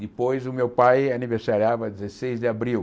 Depois, o meu pai aniversariava dezesseis de abril.